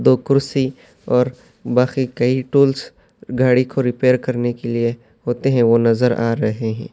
دو کرسی اور باقی کئی ٹولس گاڑی کو ریپئر کرنے کے لئے ہوتے ہے، وہ نظر آ رہے ہے۔